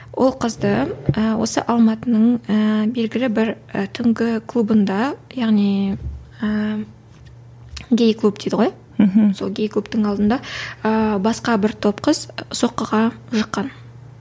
ол қызды ііі осы алматының ііі белгілі бір і түнгі клубында яғни ііі гей клуб дейді ғой мхм сол гей клубтың алдында ыыы басқа бір топ қыз соққыға жыққан